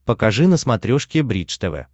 покажи на смотрешке бридж тв